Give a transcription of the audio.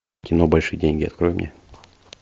кино большие деньги открой мне